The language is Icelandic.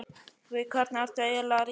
Við hvern ertu eiginlega að rífast?